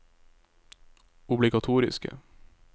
obligatoriske